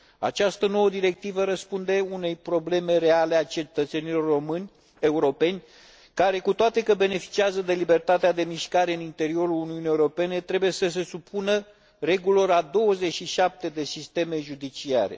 Această nouă directivă răspunde unei probleme reale a cetățenilor români și europeni care, cu toate că beneficiază de libertatea de mișcare în interiorul Uniunii Europene, trebuie să se supună regulilor a 27 de sisteme judiciare.